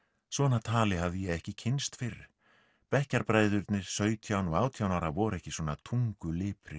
svona tali hafði ég ekki kynnst fyrr sautján og átján ára voru ekki svona